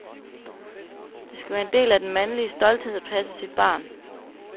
Det skal være en del af den mandlige stolthed at passe sit barn.